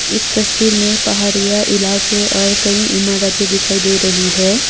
इस तस्वीर में पहाड़ियां इलाके और कई इमारतें दिखाई दे रही है।